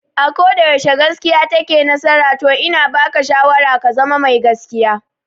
A koda yaushe gaskiya take nasara to ina baka shawara ka zama mai gaskiya